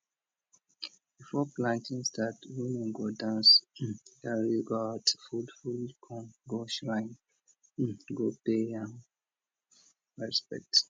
before planting start women go dance um carry gourd full full corn go shrine um go pay um respect